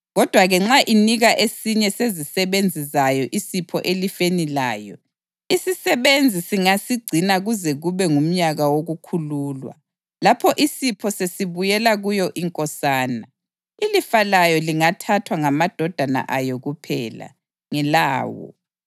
Kodwa-ke nxa inika esinye sezisebenzi zayo isipho elifeni layo, isisebenzi singasigcina kuze kube ngumnyaka wokukhululwa; lapho isipho sesibuyela kuyo inkosana. Ilifa layo lingathathwa ngamadodana ayo kuphela; ngelawo.